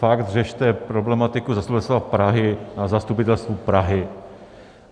Fakt řešte problematiku Zastupitelstva Prahy na Zastupitelstvu Prahy.